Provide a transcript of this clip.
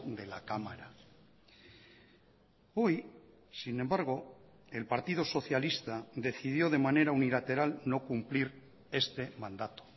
de la cámara hoy sin embargo el partido socialista decidió de manera unilateral no cumplir este mandato